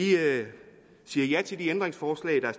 siger ja til det ændringsforslag der